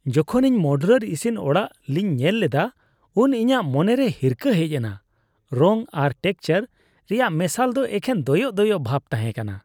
ᱡᱚᱠᱷᱚᱱ ᱤᱧ ᱢᱚᱰᱩᱞᱟᱨ ᱤᱥᱤᱱ ᱚᱲᱟᱜ ᱞᱤᱧ ᱧᱮᱞ ᱞᱮᱫᱟ ᱩᱱ ᱤᱧᱟᱹᱜ ᱢᱚᱱᱮᱨᱮ ᱦᱤᱨᱠᱟᱹ ᱦᱮᱡ ᱮᱱᱟ ᱾ ᱨᱚᱝ ᱟᱨ ᱴᱮᱠᱪᱟᱨ ᱨᱮᱭᱟᱜ ᱢᱮᱥᱟᱞ ᱫᱚ ᱮᱠᱷᱮᱱ ᱫᱚᱭᱚᱜ ᱫᱚᱭᱚᱜ ᱵᱷᱟᱵ ᱛᱟᱦᱮᱸ ᱠᱟᱱᱟ ᱾